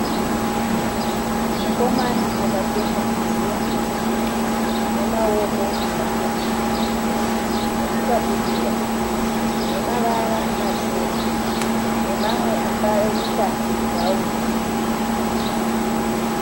Mukomana akapfeka hembe ine maoko mapfupi nechikabudura. Zvine mavara matema nemamwe akaita bhurauni.